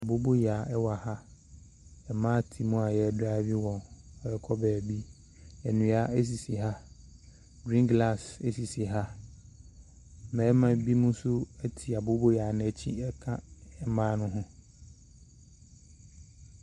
Aboboyaa ɛwɔ ha mmaa te mu a yɛretwi wɔn ɛrekɔ baabi nnua asisi ha griin glas asisi ha mmarima bi mo nso ɛte aboboyaa n'akyi ɛka mmaa no ho.